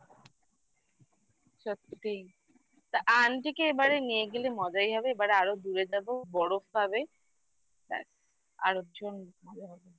সত্যিই তা aunty কে এবারে নিয়ে গেলে মজাই হবে এবারে আরও দূরে যাবো বরফ পাবে আরেকজন ভালো হবে